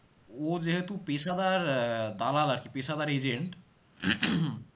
ও যেহেতু পেশাদার আহ দালাল আরকি পেশাদার agent